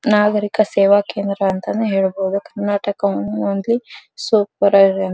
ನಾಗರೀಕ ಸೇವಾ ಕೇಂದ್ರ ಅಂತಾನೆ ಕರ್ನಾಟಕ ಓನ್ಲಿ ಸೂಪರ್ ಆಗಿದೆ.